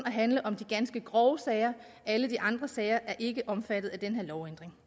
at handle om de ganske grove sager alle de andre sager er ikke omfattet af den her lovændring